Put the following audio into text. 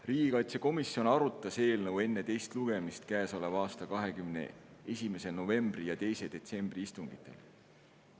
Riigikaitsekomisjon arutas eelnõu enne teist lugemist käesoleva aasta 21. novembri ja 2. detsembri istungil.